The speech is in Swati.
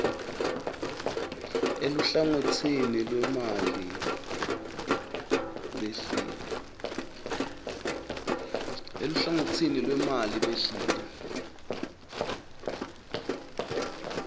eluhlangotsini lwemali behlile